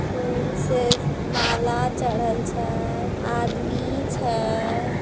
फूल से माला चढ़ल छय आदमी छय ।